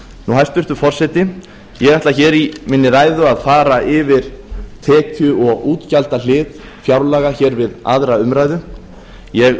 hæstvirtur forseti ég ætla hér í minni ræðu að fara yfir tekju og útgjaldahlið fjárlaga hér við aðra umræðu ég